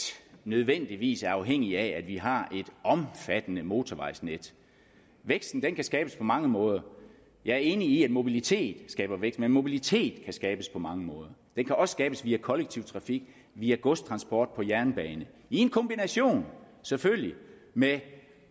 nødvendigvis er afhængig af at vi har et omfattende motorvejsnet væksten kan skabes på mange måder jeg er enig i at mobilitet skaber vækst men mobilitet kan skabes på mange måder den kan også skabes via kollektiv trafik via godstransport på jernbane i en kombination selvfølgelig med